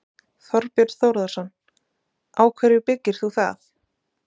Þorbjörn Þórðarson: Á hverju byggir þú það?